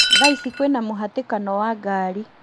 Thaa ici kwĩna mũhatĩkano wa ngari